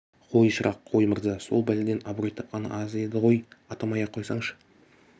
қой шырақ қой мырза сол бәледен абырой тапқаны аз еді ғой атамай-ақ қойсаңшы